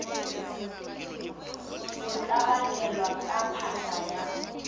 go tlabakelwa ka phahla ya